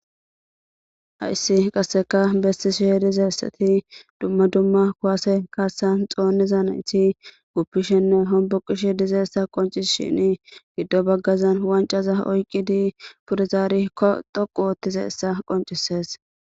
Hayssi qase bessishe dizaysi,dumma dumma kuwase kaasan xoonidi dizaysi guppishe ne homboqishe dizaysa qonchisishini giddo baggan wancaza oykidi pude zari dhoqqu histizaysa qoncisees.